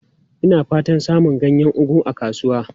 Ina fatan samun ganyen ugu a kasuwa.